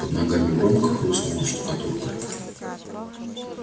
под ногами громко хрустнула штукатурка